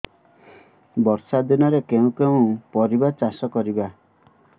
ବର୍ଷା ଦିନରେ କେଉଁ କେଉଁ ପରିବା ଚାଷ କରିବା